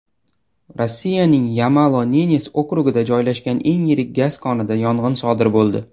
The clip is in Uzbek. Rossiyaning Yamalo-Nenes okrugida joylashgan eng yirik gaz konida yong‘in sodir bo‘ldi.